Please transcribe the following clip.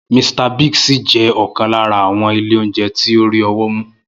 Mr. Biggs ṣì jẹ́ ọ̀kan lára àwọn ilé oúnjẹ tó rí ọwọ́ mú.